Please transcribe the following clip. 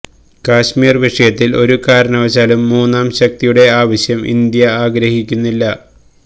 കാശ്മീര് വിഷയത്തില് ഒരു കാരണവശാലും മൂന്നാം ശക്തിയുടെ ആവശ്യം ഇന്ത്യ ആഗ്രഹിക്കുന്നില്ല